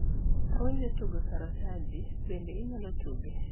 awinjo tugo sataranji bende inyalo tuge